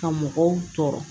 Ka mɔgɔw tɔɔrɔ